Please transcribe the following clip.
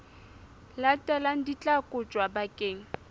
latelang di tla kotjwa bakeng